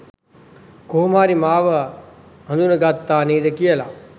කොහොම හරි මාව හඳුන ගත්තා නේද කියලා.